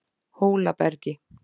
Hólabergi